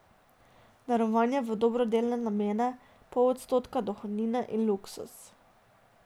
Darovanje v dobrodelne namene, pol odstotka dohodnine in luksuz.